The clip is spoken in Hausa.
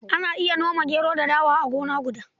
Ana iya noma gero da dawa a gona guda.